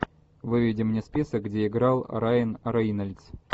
выведи мне список где играл райан рейнольдс